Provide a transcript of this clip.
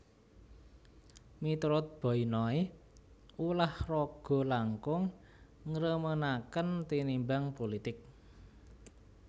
Miturut Boy Noy ulah raga langkung ngremenaken tinimbang pulitik